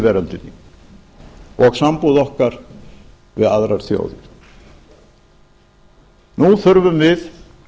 veröldinni og sambúð okkar við aðrar þjóðir nú þurfum við